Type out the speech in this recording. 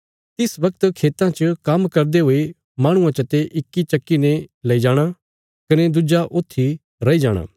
तिस बगत खेतां च काम्म करदे दुईं माहणुआं चते इक चक्की ने लेई जाणा कने दुज्जा छडीत्या जाणा